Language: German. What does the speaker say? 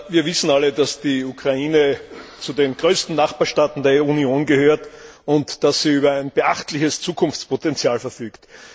Wir wissen alle, dass die Ukraine zu den größten Nachbarstaaten der Union gehört, und dass sie über ein beachtliches Zukunftspotential verfügt.